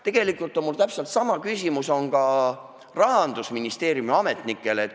Tegelikult on mul täpselt sama küsimus ka Rahandusministeeriumi ametnikele.